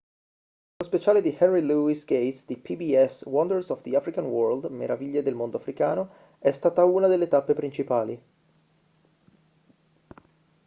nello speciale di henry louis gates di pbs wonders of the african world meraviglie del mondo africano è stata una delle tappe principali